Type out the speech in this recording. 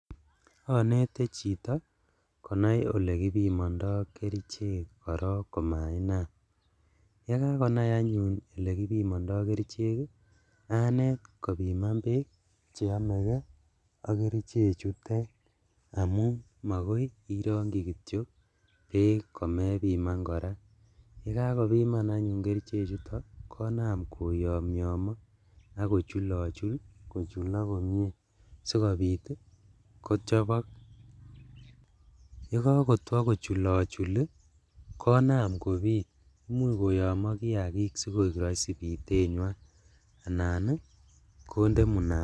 Onete chito konai elekibimondo kerichek korong komainam, yekakonai anyun elekibimondo kerichek ii anet kobiman beek cheomekee ak kerichechutet amun makoi irongchi kityok beek komebiman koraa, yekakobiman anyun kerichechuto konam koyomyomo ok kochulochul kochulok komie sikobit ii kochobok, yekokotwo kochulochuli konam kobit imuch koyomo kiakik sikoi roisi bitenywan anan konde munandet.